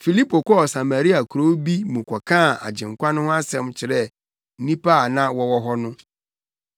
Filipo kɔɔ Samaria kurow bi mu kɔkaa Agyenkwa no ho asɛm kyerɛɛ nnipa a na wɔwɔ hɔ no.